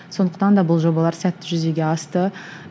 сондықтан да бұл жобалар сәтті жүзеге асты